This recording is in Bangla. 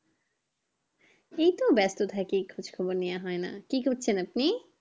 এই তো ব্যাস্ত থাকি খোজ খবর নিও হয় না, কি করছেন আপনি?